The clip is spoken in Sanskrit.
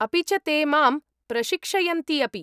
अपि च ते मां प्रशिक्षयन्ति अपि।